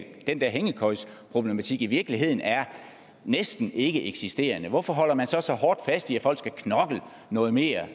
den der hængekøjeproblematik i virkeligheden er næsten ikkeeksisterende hvorfor holder man så så hårdt fast i at folk skal knokle noget mere